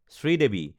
Sridevi